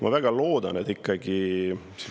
Ma väga loodan, et ikkagi …